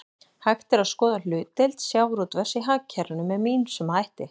Hægt er að skoða hlutdeild sjávarútvegs í hagkerfinu með ýmsum hætti.